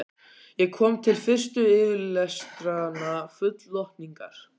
Ég kom til fyrstu fyrirlestranna full lotningar.